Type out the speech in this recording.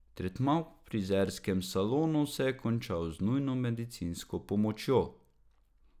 Tretma v frizerskem salonu se je končal z nujno medicinsko pomočjo.